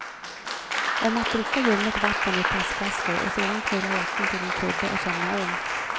Om att dricka ljummet vatten ur plastflaskor och sedan knöla jackan till en kudde och somna om.